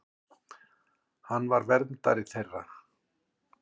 Hann var verndari þeirra.